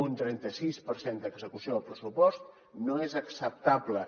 un trenta sis per cent d’execució del pressupost no és acceptable